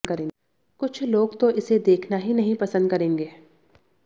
कुछ लोग तो इसे देखना ही नहीं पसंद करेंगे